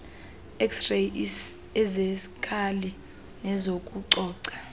xray eziskali nezokucoca